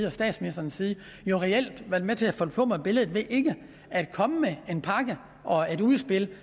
og statsministerens side reelt været med til at forplumre billedet ved ikke at komme med en pakke og et udspil